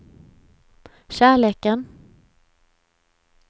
kärleken